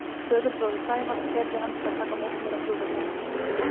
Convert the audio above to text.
Föðurbróðir Sævars keyrði hann til að taka á móti mér á flugvellinum.